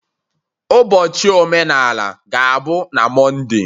Ụbọchị omenala ga-abụ na Monday.